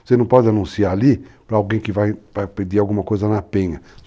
Você não pode anunciar ali para alguém que vai pedir alguma coisa na penha.